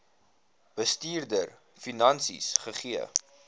bestuurder finansies gegee